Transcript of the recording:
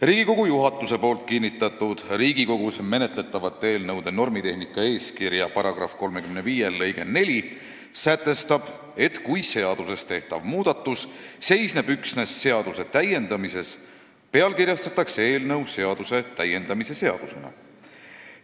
Riigikogu juhatuse poolt kinnitatud Riigikogus menetletavate eelnõude normitehnika eeskirja § 35 lõige 4 sätestab, et kui seaduses tehtav muudatus seisneb üksnes seaduse täiendamises, pealkirjastatakse eelnõu seaduse täiendamise seadusena.